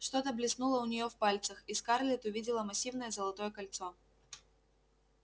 что-то блеснуло у нее в пальцах и скарлетт увидела массивное золотое кольцо